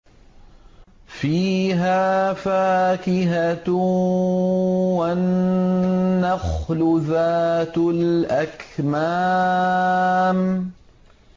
فِيهَا فَاكِهَةٌ وَالنَّخْلُ ذَاتُ الْأَكْمَامِ